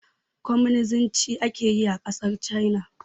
Kwaminisnci ake yi a ƙasar China